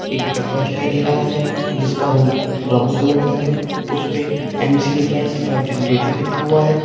एक डब्बा दिखाई दे रहा है जिसका रंग ब्राउन कलर का है उसपे M C A five two five generator लिखा हुआ है।